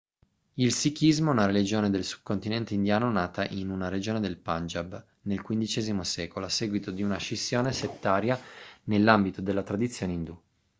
il sikhismo è una religione del subcontinente indiano nata in una regione del punjab nel xv secolo a seguito di una scissione settaria nell'ambito della tradizione indù